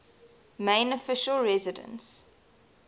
main official residence